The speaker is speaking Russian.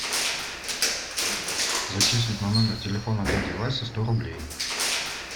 зачислить на номер телефона дяди васи сто рублей